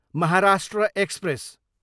Maharashtra express